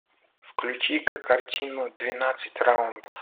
включи ка картину двенадцать раундов